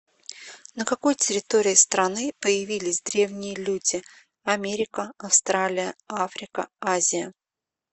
на какой территории страны появились древние люди америка австралия африка азия